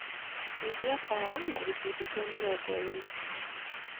nyĩhĩa tawa na gĩcũnjĩ kĩa mĩrongo ĩrĩ